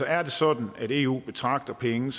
er det sådan at eu betragter penge